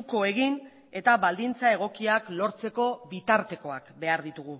uko egin eta baldintza egokiak lortzeko bitartekoak behar ditugu